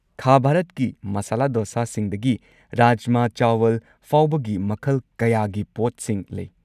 ꯈꯥ ꯚꯥꯔꯠꯀꯤ ꯃꯥꯁꯥꯂꯥ ꯗꯣꯁꯥꯁꯤꯡꯗꯒꯤ ꯔꯥꯖꯃꯥ ꯆꯥꯋꯜ ꯐꯥꯎꯕꯒꯤ ꯃꯈꯜ ꯀꯌꯥꯒꯤ ꯄꯣꯠꯁꯤꯡ ꯂꯩ꯫